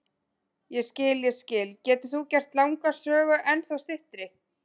Ég skil, ég skil, getur þú gert langa sögu ennþá styttri?